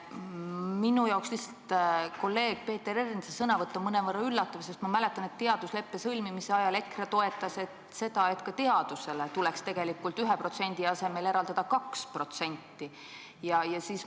Minu jaoks on lihtsalt kolleeg Peeter Ernitsa sõnavõtt mõnevõrra üllatav, sest ma mäletan, et teadusleppe sõlmise ajal EKRE toetas seda, et ka teadusele tuleks tegelikult 1% asemel eraldada 2%.